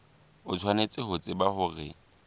o tshwanetse ho tseba hore